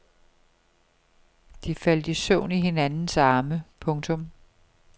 De faldt i søvn i hinandens arme. punktum